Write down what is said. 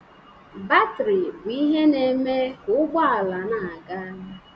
Batrị bụ ihe na-eme ka ụgbọ ala na-aga.